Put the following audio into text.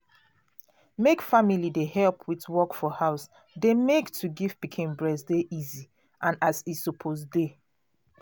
make family dey help with work for house dey make to give pikin breast dey easy and as e suppose dey